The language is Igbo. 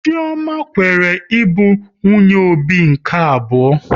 Chioma kweere ịbụ nwunye Obi nke abụọ